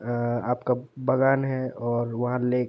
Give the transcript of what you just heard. आ आपका बागान है और वहाँ लेक --